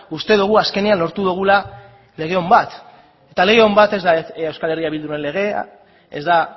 uste dugu azkenean lortu dugula lege on bat eta lege on bat ez da euskal herria bilduren legea ez da